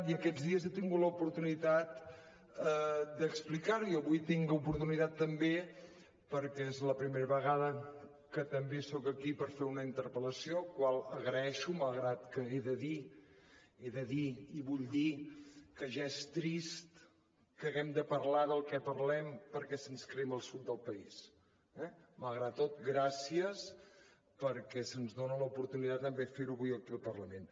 i aquests dies he tingut l’oportunitat d’explicar ho i avui en tinc l’oportunitat també perquè és la primera vegada que també soc aquí per fer una interpellació la qual agraeixo malgrat que he de dir he de dir i vull dir que ja és trist que haguem de parlar del que parlem perquè se’ns crema el sud del país eh malgrat tot gràcies perquè se’ns dona l’oportunitat també de fer ho avui aquí al parlament